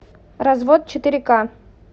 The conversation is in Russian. развод четыре ка